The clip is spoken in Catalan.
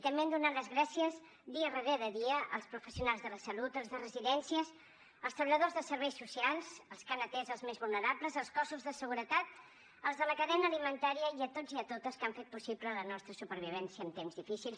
també hem donat les gràcies dia darrere dia als professionals de la salut als de residències als treballadors de serveis socials als que han atès els més vulnerables als cossos de seguretat als de la cadena alimentària i a tots i a totes que han fet possible la nostra supervivència en temps difícils